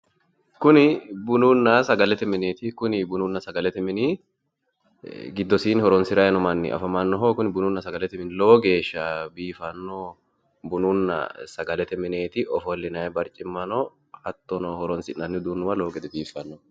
Kunni bununna sagalete mineeti kunni bununna sagalete minni gidosiinni horoonsiranni noo manni afamano kunni bununna sagalete minni lowogeesha biifano bununna sagalete mineeti ofolinnayi barcimma no hattono horoonsi'nanni uduunuwa lowo gede biifano.